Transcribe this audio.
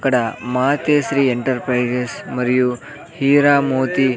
ఇక్కడ మాతే శ్రీ ఎంటర్ప్రైజెస్ మరియు హీరా మోతి --